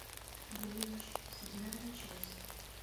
блич седьмая часть